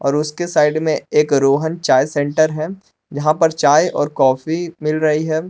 उसकी साइड में एक रोहन चाय सेंटर है जहां पर चाय और कॉफी मिल रही है।